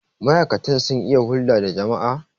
ma'aikatan sun iya hulda da jama'a?